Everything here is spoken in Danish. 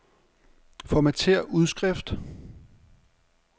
Formatér udskrift.